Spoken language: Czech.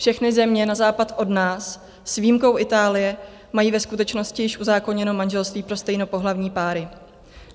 Všechny země na západ od nás, s výjimkou Itálie, mají ve skutečnosti již uzákoněno manželství pro stejnopohlavní páry.